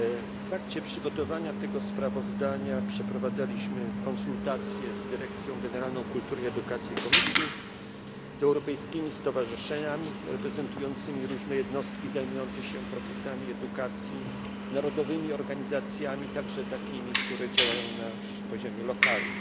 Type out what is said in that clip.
W trakcie przygotowania tego sprawozdania przeprowadzaliśmy konsultacje z Dyrekcją Generalną Kultury i Edukacji Komisji, z europejskimi stowarzyszeniami reprezentującymi różne jednostki zajmujące się procesami edukacji, z narodowymi organizacjami, także takimi, które działają na poziomie lokalnym.